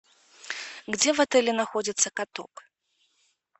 где в отеле находится каток